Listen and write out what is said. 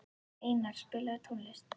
Einar, spilaðu tónlist.